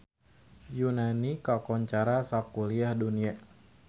Yunani kakoncara sakuliah dunya